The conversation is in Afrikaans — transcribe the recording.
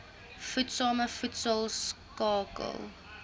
voedsame voedsel skakel